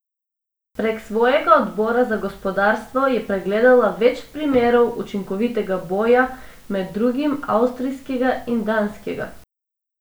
Prek svojega odbora za gospodarstvo je pregledala več primerov učinkovitega boja, med drugim avstrijskega in danskega.